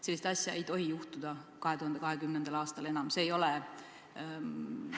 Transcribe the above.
Sellist asja ei tohi 2020. aastal enam juhtuda.